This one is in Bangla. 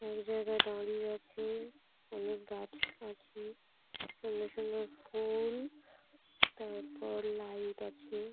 এক জায়গায় দাঁড়িয়ে আছে অনেক গাছ আছে সুন্দর সুন্দর ফু্‌ল তারপরে লাইট আছে।